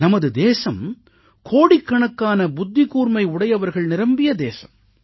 நமது தேசம் கோடிக்கணக்கான புத்திக்கூர்மை உடையவர்கள் நிரம்பிய தேசம்